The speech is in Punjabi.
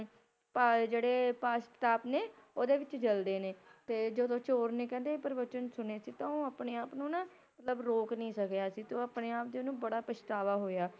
ਭਲ ਜਿਹੜੇ ਪਛਤਾਪ ਨੇ, ਓਹਦੇ ਵਿੱਚ ਜਲਦੇ ਨੇ। ਤੇ ਜਦੋ ਚੋਰ ਨੇ ਕਹਿੰਦੇ ਇਹ ਪ੍ਰਵਚਨ ਸੁਣੇ ਸੀ ਤਾਂ ਓਹ ਆਪਣੇ ਆਪ ਨੂੰ ਨਾ‌ ਮਤਲਬ ਰੋਕ ਨਹੀਂ ਸਕੀਆ ਸੀ ਤੇ ਆਪਣੇ ਆਪ ਤੇ ਓਹਨੂੰ ਬੜਾ ਪਛਤਾਵਾ ਹੋਇਆ।